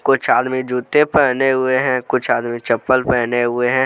कुछ आदमी जूते पहने हुए हैं कुछ आदमी चप्पल पहने हुए हैं।